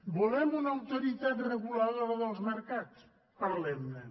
volem una autoritat reguladora dels mercats parlem ne